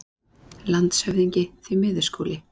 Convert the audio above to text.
LANDSHÖFÐINGI: Því miður, Skúli.